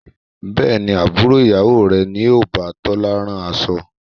Bẹ́ẹ̀ni, Àbúrò ìyá rẹ ni o bá Tola rán aṣọ.